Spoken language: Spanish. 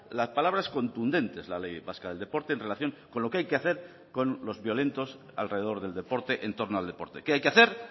las palabras contundentes la ley vasca del deporte en relación con lo que hay que hacer con los violentos alrededor del deporte en torno al deporte qué hay que hacer